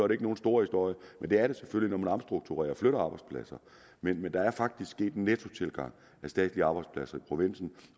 det ikke nogen stor historie men det er det selvfølgelig når man omstrukturerer og flytter arbejdspladser men der er faktisk sket en nettotilgang af statslige arbejdspladser i provinsen